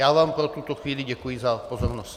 Já vám pro tuto chvíli děkuji za pozornost.